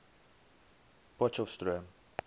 potchefstroom